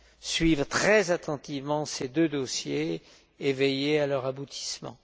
suivre très attentivement ces deux dossiers et veiller à leur aboutissement.